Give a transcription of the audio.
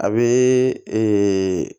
A bɛ ee